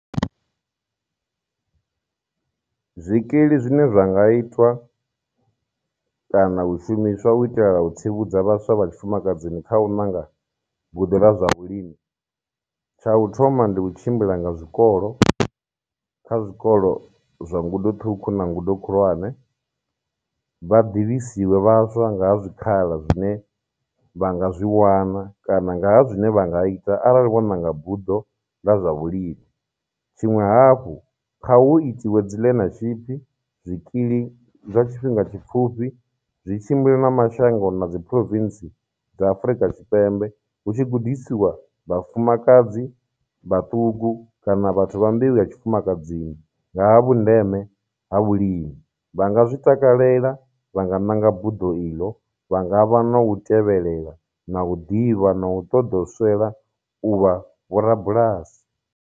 Zwikili zwine zwa nga itwa kana u shumiswa u itela u tsivhudza vhaswa vha tshifumakadzini kha u ṋanga buḓo ḽa zwa vhulimi. Tsha u thoma ndi u tshimbila nga zwikolo, kha zwikolo zwa ngudo ṱhukhu na ngudo khulwane, vha ḓivhisiwe vhaswa nga ha zwikhala zwine vha nga zwi wana kana ngaha zwine vha nga ita arali vho ṋanga buḓo ḽa zwavhulimi. Tshiṅwe hafhu, kha hu itiwe dzi learnership, zwikili zwa tshifhinga tshipfhufhi zwi tshimbile na mashango na dzi province dza Afurika Tshipembe hu tshi gudisiwa vhafumakadzi vhaṱuku kana vhathu vha mbeu ya tshifumakadzini nga ha vhundeme ha vhulimi, vha nga zwi takalela, vha nga ṋanga buḓo iḽo, vhanga vha na u tevhelela, na u ḓivha, na u ṱoḓou swela u vha vho rabulasi.